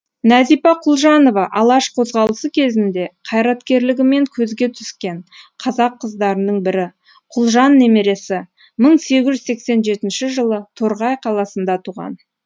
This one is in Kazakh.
нәзипа құлжанова алаш қозғалысы кезінде қайраткерлігімен көзге түскен қазақ қыздарының бірі құлжан немересі мың сегіз жүз сексен жетінші жылы торғай қаласында туған